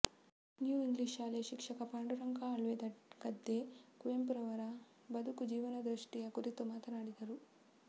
new English ಶಾಲೆಯ ಶಿಕ್ಷಕ ಪಾಂಡುರಂಗ ಅಳ್ವೆಗದ್ದೆ ಕುವೆಂಪುರವರ ಬದುಕು ಜೀವನದೃಷ್ಠಿಯ ಕುರಿತು ಮಾತನಾಡಿದರು